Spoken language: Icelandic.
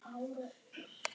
Maður hrífst af honum.